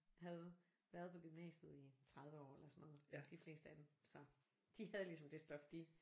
Havde været på gymnasiet i 30 år eller sådan noget de fleste af dem så. De havde ligesom det stof de